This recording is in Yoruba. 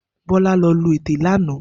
Bola lò lú été lànã